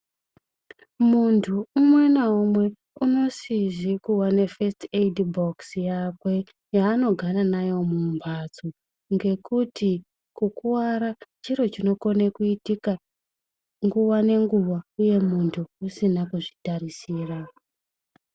Mundu umwe naumwe unosize kuwa nefesiti eidhi bhokisi yakwe yaanogara nayo mumhatso, ngekuti kukuwara chiro chinokona kuitika nguwa nenguwa uye mundu asina kuzvitarisira.